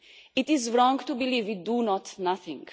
It is wrong to believe we do nothing.